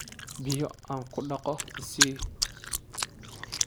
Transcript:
Biyo aan ku dhaqo i sii.